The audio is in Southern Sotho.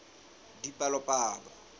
dipalopalo